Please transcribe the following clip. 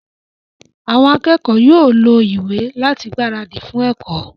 Àwọn akẹ́kọ̀ọ́ yóò lo ìwé láti gbáradì fún ẹ̀kọ́